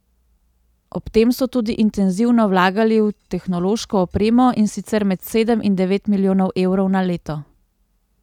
Ob tem so tudi intenzivno vlagali v tehnološko opremo, in sicer med sedem in devet milijonov evrov na leto.